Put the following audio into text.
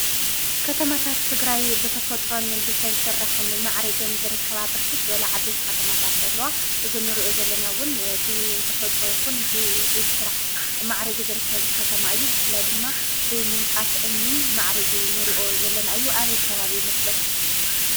ከተማታት ትግራይ ብተፈጥሮን ብሰብ ስራሕን ማዕሪገን ዝርከባ ብርክት ዝበላ ዓበይቲ ኸተማታት ኣለዋ። እዚ ንሪኦ ዘለና ብተፈጥሮ ይኹን ብኢድ ስራሕ ማዕሪጉ ዝርከብ ከተማ እዩ። ብፍላት ድማ ብምንፃፍ እምኒ ማዕሪጉ ንሪኦ ዘለና እዩ ።ኣበይ ከባቢ ይመስለኩም?